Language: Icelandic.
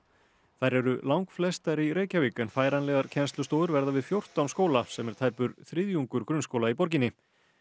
þær eru langflestar í Reykjavík en færanlegar kennslustofur verða við fjórtán skóla sem er tæpur þriðjungur grunnskóla í borginni